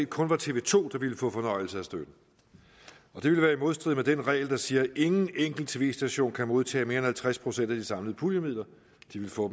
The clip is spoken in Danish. kun var tv to der ville få fornøjelse af støtten og det ville være i modstrid med den regel der siger at ingen enkelt tv station kan modtage mere end halvtreds procent af de samlede puljemidler de ville få